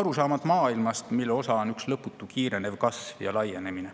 arusaamad maailmast, mille osa on üks lõputu kiirenev kasv ja laienemine.